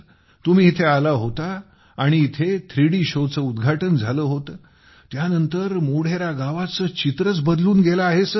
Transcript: तुम्ही इथे आला होता आणि इथे थ्रीडी शोचे उद्घाटन झाले होते त्यानंतर मोढेरा गावाचे चित्रच बदलून गेले आहे सर